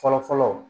Fɔlɔ fɔlɔ